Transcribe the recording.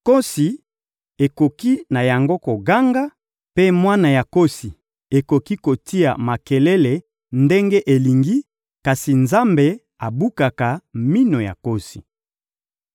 Nkosi ekoki na yango koganga, mpe mwana ya nkosi ekoki kotia makelele ndenge elingi, kasi Nzambe abukaka minu ya nkosi.